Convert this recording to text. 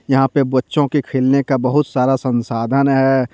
यहां पे बच्चों के खेलने का बहुत सारा संसाधन है।